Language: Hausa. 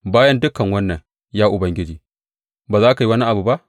Bayan dukan wannan, ya Ubangiji, ba za ka yi wani abu ba?